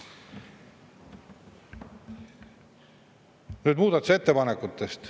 Nüüd muudatusettepanekutest.